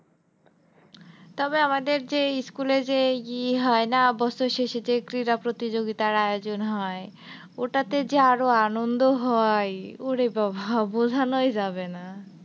তবে আমাদের যে school এ যে ইয়ে হয় না বছর শেষে যে ক্রীড়া প্রতিযোগিতার আয়োজন হয় ওটাতে যে আরো আনন্দ হয় ওরে বাবা বোঝানোই যাবে না।